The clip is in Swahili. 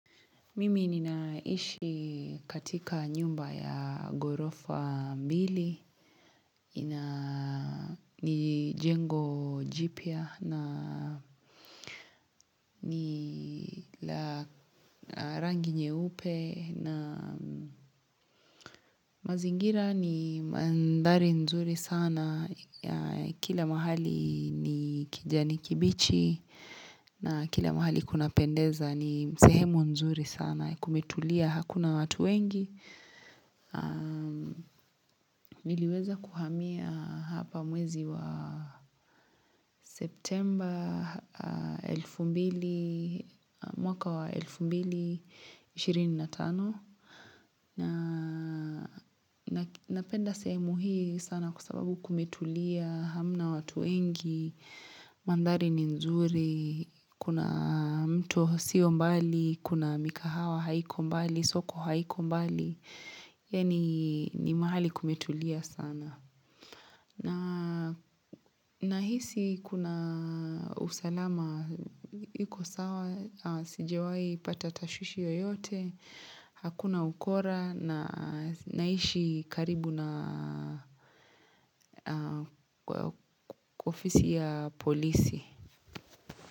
Mimi ninaishi katika nyumba ya ghorofa mbili, ina ni jengo jipya, ni la rangi nyeupe, na mazingira ni mandhari nzuri sana, kila mahali ni kijanikibichi, na kila mahali kunapendeza ni sehemu nzuri sana, kumetulia hakuna watu wengi. Niliweza kuhamia hapa mwezi wa septemba mwaka wa 2025 na napenda semu hii sana kwa sababu kumetulia hamna watu wengi, mandhari ni nzuri, kuna mto sio mbali, kuna mikahawa haiko mbali, soko haiko mbali, yaani ni mahali kumetulia sana. Na hisi kuna usalama, iko sawa, sijawahi pata tashwishi yoyote, hakuna ukora na naishi karibu na ofisi ya polisi.